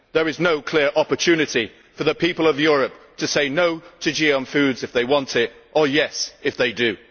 There is no clear opportunity for the people of Europe to say no' to GM foods if they do not want them, or yes' if they do.